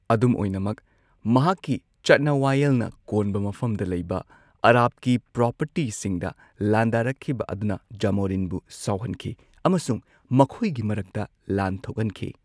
ꯑꯗꯨꯝ ꯑꯣꯏꯅꯃꯛ, ꯃꯍꯥꯛꯀꯤ ꯆꯠꯅ ꯋꯥꯌꯦꯜꯅ ꯀꯣꯟꯕ ꯃꯐꯝꯗ ꯂꯩꯕ ꯑꯔꯥꯕꯀꯤ ꯄ꯭ꯔꯣꯄꯔꯇꯤꯁꯤꯡꯗ ꯂꯥꯟꯗꯥꯔꯛꯈꯤꯕ ꯑꯗꯨꯅ ꯖꯥꯃꯣꯔꯤꯟꯕꯨ ꯁꯥꯎꯍꯟꯈꯤ ꯑꯃꯁꯨꯡ ꯃꯈꯣꯏꯒꯤ ꯃꯔꯛꯇ ꯂꯥꯟ ꯊꯣꯛꯍꯟꯈꯤ꯫